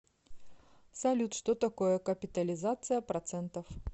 салют что такое капитализация процентов